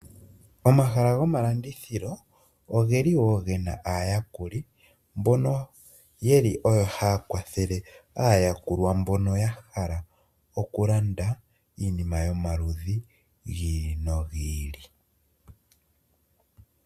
Omahala gomalandithilo, ogeli wo gena aayakuli mbono yeli haya kwathele aayakulwa mbono yahala okulanda iinima yomaludhi gi ili nogi ili.